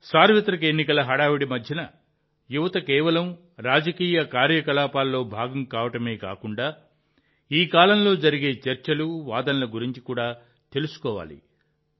సార్వత్రిక ఎన్నికల హడావుడి మధ్య యువత కేవలం రాజకీయ కార్యకలాపాల్లో భాగం కావడమే కాకుండా ఈ కాలంలో జరిగే చర్చలు వాదనల గురించి కూడా తెలుసుకోవాలి